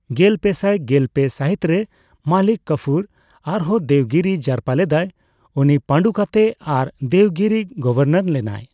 ᱜᱮᱞᱯᱮᱥᱟᱭ ᱜᱮᱞᱯᱮ ᱥᱟᱹᱦᱤᱛᱨᱮ ᱢᱟᱞᱤᱠ ᱠᱟᱯᱷᱩᱨ ᱟᱨᱦᱚᱸ ᱫᱮᱵᱽᱜᱤᱨᱤ ᱡᱟᱨᱯᱟ ᱞᱮᱫᱟᱭ, ᱩᱱᱤ ᱯᱟᱸᱰᱩ ᱠᱟᱛᱮ ᱟᱨ ᱫᱮᱵᱜᱤᱨᱤ ᱜᱚᱵᱷᱚᱨᱱᱚᱨ ᱞᱮᱱᱟᱭ ᱾